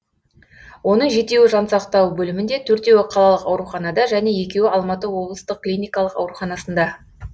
оның жетеуі жансақтау бөлімінде төртеуі қалалық ауруханада және екеуі алматы облыстық клиникалық ауруханасында